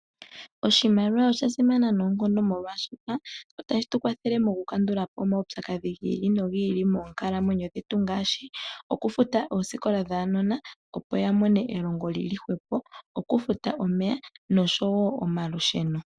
Oshimaliwa osha simana noonkondo, molwaashoka otashi tu kwathele mokukandula po omaupyakadhi gi ili nogi ili moonkalamwenyo dhetu ngaashi okufuta oosikola dhaanona, opo ya mone elongo li li hwepo, okufuta omeya noshowo omalusheno.